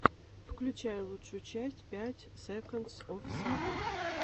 включай лучшую часть пять секондс оф саммер